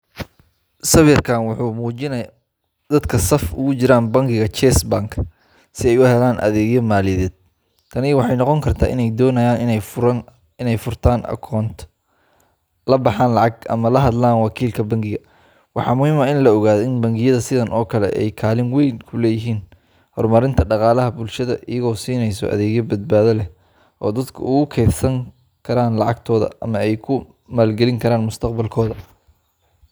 Sawirkan wuxuu muujinayaa dadka saf ugu jira bangiga Chase Bank si ay u helaan adeegyo maaliyadeed. Tani waxay noqon kartaa in ay doonayaan in ay furaan koonto, la baxaan lacag, ama la hadlaan wakiilka bangiga. Waxaa muhiim ah in la ogaado in bangiyada sidaan oo kale ah ay kaalin weyn ku leeyihiin horumarinta dhaqaalaha bulshada, iyaga oo siinaya adeegyo badbaado leh oo dadku ugu keydsadaan lacagtooda ama ay ku maalgeliyaan mustaqbalkooda.